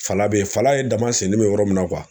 Fala be ye, fala ye daman sennin be yɔrɔ min na .